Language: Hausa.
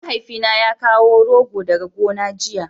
mahaifi na ya kawo rogo daga gona giya